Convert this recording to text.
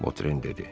Votren dedi.